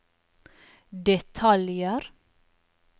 detaljer